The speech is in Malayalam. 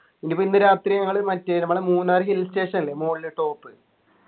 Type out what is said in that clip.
ഇനിയിപ്പോ ഇന്ന് രാത്രി നിങ്ങള് മറ്റേ നമ്മുടെ മൂന്നാർ hill station ഇല്ലേ മോളിൽ top